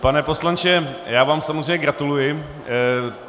Pane poslanče, já vám samozřejmě gratuluji.